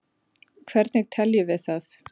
hvernig teljum við það